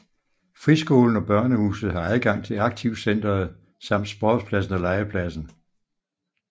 Friskolen og Børnehuset har adgang til Aktivcentret samt sportspladsen og legepladsen